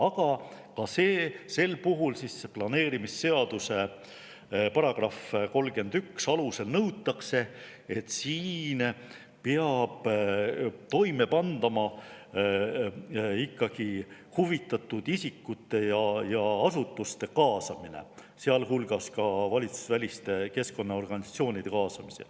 Aga ka sel puhul nõuab planeerimisseaduse § 31, et ikkagi huvitatud isikute ja asutuste kaasamine, sealhulgas valitsusväliste keskkonnaorganisatsioonide kaasamine.